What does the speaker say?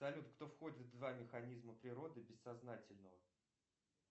салют кто входит в два механизма природы бессознательного